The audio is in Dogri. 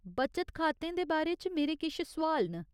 बचत खातें दे बारे च मेरे किश सोआल न।